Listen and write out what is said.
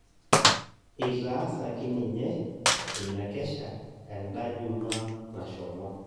Etaasaki ninye ina kesha enda ijumaa nashomo